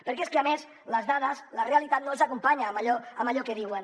perquè és que a més les dades de la realitat no els acompanyen en allò que diuen